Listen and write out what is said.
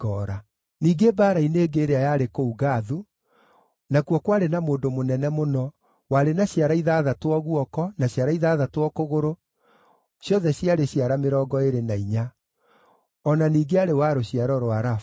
Ningĩ mbaara-inĩ ĩngĩ ĩrĩa yarĩ kũu Gathu, nakuo kwarĩ na mũndũ mũnene mũno, warĩ na ciara ithathatũ o guoko, na ciara ithathatũ o kũgũrũ, ciothe ciarĩ ciara mĩrongo ĩĩrĩ na inya. O na ningĩ aarĩ wa rũciaro rwa Rafa.